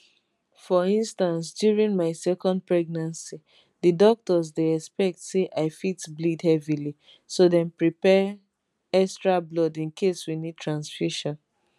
for instance during my second pregnancy di doctors dey expect say i fit bleed heavily so dem prepare extra blood in case we need transfusion